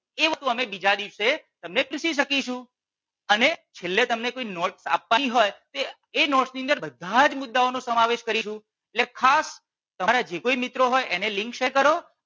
એ વસ્તુ અમે તમને બીજા દિવસે તમને શીખવી શકીશું. અને છેલ્લે તમને કોઈ notes આપવી હોય એ notes ની અંદર બધા જ મુદ્દાઓ નો સમાવેશ કરીશું એટલે ખાસ તમારા જે કોઈ મિત્રો હોય એને Link share કરો